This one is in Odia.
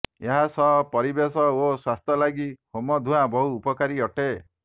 ଏହା ସହ ପରିବେଶ ଓ ସ୍ୱାସ୍ଥ୍ୟ ଲାଗି ହୋମ ଧୂଁଆ ବହୁ ଉପକାରୀ ଅଟେ